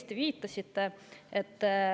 Te viitasite õigesti.